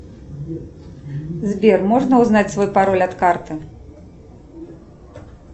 сбер можно узнать свой пароль от карты